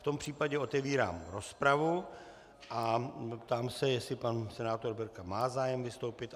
V tom případě otevírám rozpravu a ptám se, jestli pan senátor Berka má zájem vystoupit.